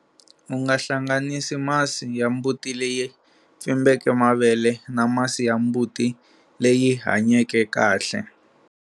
U nga hlahganisi masi ya mbuti leyi pfimbeke mavele na masi ya mbuti leyi hanyeke kahle.